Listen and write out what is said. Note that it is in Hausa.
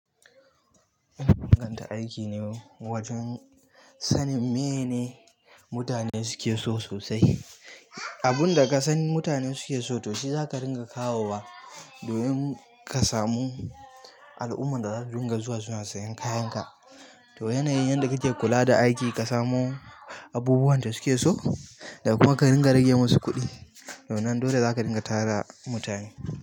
Ina inganta aiki ne mu, wajen sanin meye ne mutane suke so sosai. Abunda kasan mutane suke so, to shi zaka dinga kawowa domin ƙasa mu. Al'ummar da za su dinga zuwa suna siyan kayan ka. To yana yin yanda kake kula da aiki ka samu, abubuwan da suke so, da kuma ka ringa rage musu kuɗi. To wannan dole za ka dinga tara mutane.